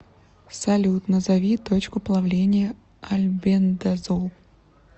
салют назови точку плавления альбендазол